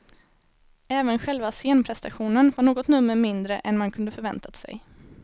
Även själva scenpresentationen var något nummer mindre än man kunde förväntat sig.